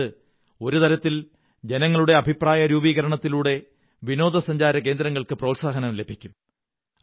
അതായത് ഒരു തരത്തിൽ ജനങ്ങളുടെ അഭിപ്രായ രൂപീകരണത്തിലൂടെ വിനോദാസഞ്ചാരകേന്ദ്രങ്ങള്ക്ക്ങ പ്രോത്സാഹനം ലഭിക്കും